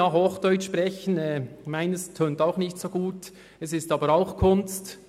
Mein Hochdeutsch klingt auch nicht so gut, ist aber auch Kunst.